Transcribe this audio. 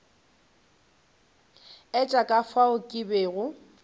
etša ka fao ke bego